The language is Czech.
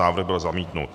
Návrh byl zamítnut.